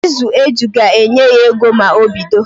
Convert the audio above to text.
Ịzụ eju ga-enye ya ego ma o bido